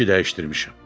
İşi dəyişdirmişəm.